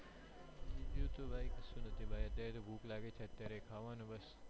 બીજું તો ભાઈ કશું નથી ભાઈ અત્યારે તો ભૂખ લાગેછે અત્યારે ખાવાનું બસ